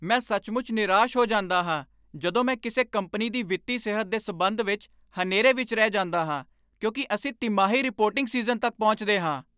ਮੈਂ ਸੱਚਮੁੱਚ ਨਿਰਾਸ਼ ਹੋ ਜਾਂਦਾ ਹਾਂ ਜਦੋਂ ਮੈਂ ਕਿਸੇ ਕੰਪਨੀ ਦੀ ਵਿੱਤੀ ਸਿਹਤ ਦੇ ਸਬੰਧ ਵਿੱਚ ਹਨੇਰੇ ਵਿੱਚ ਰਹਿ ਜਾਂਦਾ ਹਾਂ ਕਿਉਂਕਿ ਅਸੀਂ ਤਿਮਾਹੀ ਰਿਪੋਰਟਿੰਗ ਸੀਜ਼ਨ ਤੱਕ ਪਹੁੰਚਦੇ ਹਾਂ।